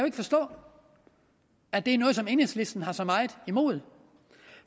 ikke forstå at enhedslisten har så meget imod